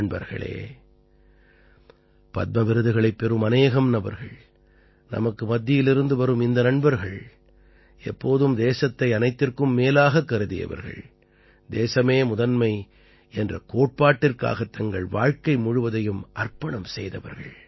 நண்பர்களே பத்ம விருதுகளைப் பெறும் அநேகம் நபர்கள் நமக்கு மத்தியிலிருந்து வரும் இந்த நண்பர்கள் எப்போதும் தேசத்தை அனைத்திற்கும் மேலாகக் கருதியவர்கள் தேசமே முதன்மை என்ற கோட்பாட்டிற்காகத் தங்கள் வாழ்க்கை முழுவதையும் அர்ப்பணம் செய்தவர்கள்